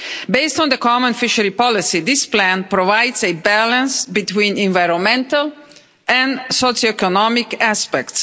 Based on the common fisheries policy, this plan provides a balance between environmental and socioeconomic aspects.